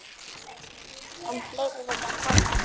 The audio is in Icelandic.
Enn fleiri vilja koma.